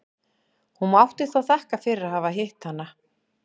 Hún mátti þó þakka fyrir að hafa hitt hana.